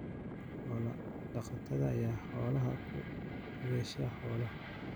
Xoolo-dhaqatada ayaa xoolaha ku beddesha xoolaha.